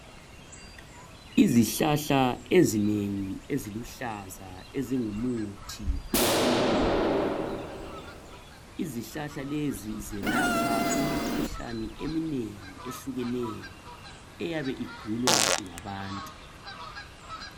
Izihlahla ezinengi eziluhlaza ezingu muthi wesintwini izihlahla lezi zelapha imikhuhlane eminengi ehlukeneyo eyabe igulwa ngabantu.